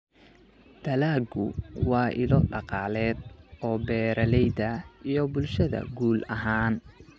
Dalaggu waa ilo dhaqaale oo beeralayda iyo bulshada guud ahaan.